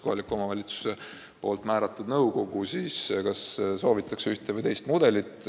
Kohaliku omavalitsuse määratud nõukogu otsustab, kas soovitakse ühte või teist mudelit.